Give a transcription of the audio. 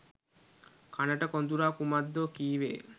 කනට කොඳුරා කුමක්දෝ කීවේය